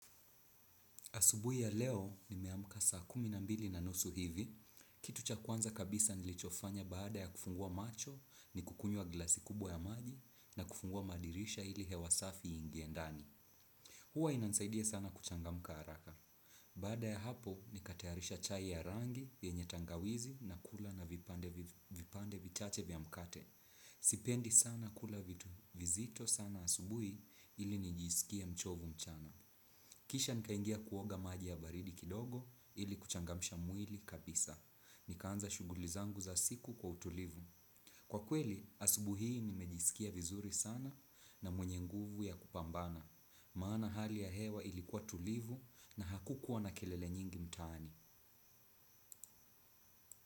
Asubuhi ya leo ni meamka saa kuminambili na nusu hivi. Kitu cha kwanza kabisa nilichofanya baada ya kufungua macho ni kukunywa glasi kubwa ya maji na kufungua madirisha ili hewasafi ingiendani. Huwa inansaidia sana kuchangamka haraka. Baada ya hapo ni katayarisha chai ya rangi yenyetangawizi na kula na vipande vichache vya mkate. Sipendi sana kula vitu vizito sana asubuhi ili nij isikia mchovu mchana. Kisha nikaingia kuoga maji ya baridi kidogo ili kuchangamisha mwili kabisa. Nikaanza shugulizangu za siku kwa utulivu. Kwa kweli asubuhi nimejisikia vizuri sana na mwenye nguvu ya kupambana. Maana hali ya hewa ilikuwa tulivu na hakukuwa na kelele nyingi mtani.